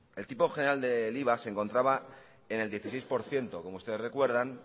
el tipo general del iva se encontraba en el dieciséis por ciento como ustedes conservan